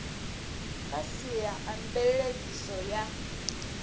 kha sia a mveledziso ya